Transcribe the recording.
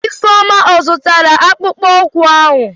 Ifeoma ọ zụtara akpụkpọ ụkwụ ahụ?